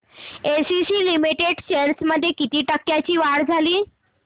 ACC limited shares मध्ये किती टक्क्यांची वाढ झाली